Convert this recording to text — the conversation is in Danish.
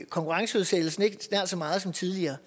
konkurrenceudsættelsen ikke nær så meget som tidligere